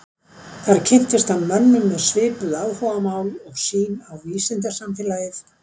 Þar kynntist hann mönnum með svipuð áhugamál og sýn á vísindasamfélagið.